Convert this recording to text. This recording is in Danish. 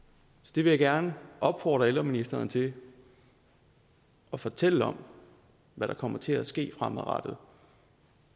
jeg vil gerne opfordre ældreministeren til at fortælle om hvad der kommer til at ske fremadrettet